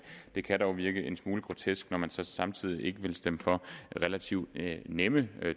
det kan dog virke en smule grotesk når man samtidig ikke vil stemme for relativt nemme